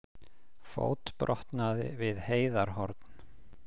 Fótbrotnaði við Heiðarhorn